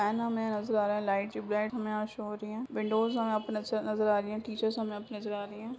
Fan हमें नजर आ रहा है लाइट की ब्राइट हमें यहाँ शो हो रही है विंडोज़ हमें यहाँ नजर आ रही हैं टीचर्स हमें यहाँ नजर आ रही हैं।